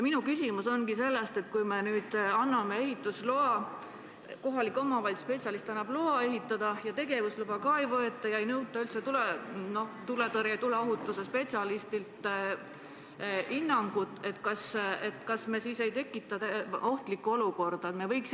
Kui me nüüd anname kohaliku omavalitsuse spetsialistile õiguse anda luba ehitada ja tegevusluba ei võeta ja ei nõuta üldse tuleohutuse spetsialisti hinnangut, kas me siis ei tekita ohtlikku olukorda?